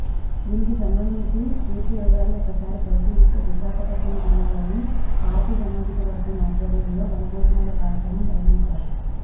దీనికి సంబంధించి పూర్తి వివరాలు ఒకసారి పరిశీలిస్తే విశాఖపట్నం జిల్లాలో కాపు సామాజికవర్గం ఆధ్వర్యంలో వనభోజనాల కార్యక్రమం నిర్వహించారు